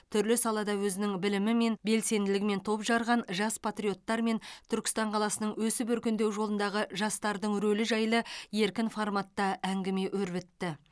түрлі салада өзінің білімімен белсенділігімен топ жарған жас патриоттармен түркістан қаласының өсіп өркендеу жолындағы жастардың рөлі жайлы еркін форматта әңгіме өрбітті